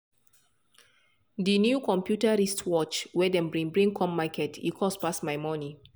de new computer wristwatch wey dem bring bring come market e cost pass my monie.